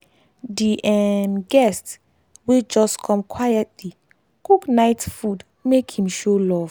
di um guest wey just come quietly cook night food make him show love.